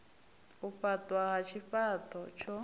u faṱwa ha tshifha ṱo